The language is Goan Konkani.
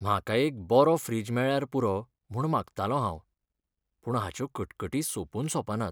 म्हाका एक बरो फ्रिज मेळ्ळ्यार पुरो म्हूण मागतालों हांव, पूण हाच्यो कटकटी सोंपून सोंपनात.